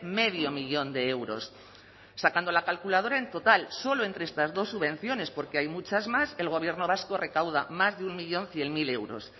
medio millón de euros sacando la calculadora en total solo entre estas dos subvenciones porque hay muchas más el gobierno vasco recauda más de un millón cien mil euros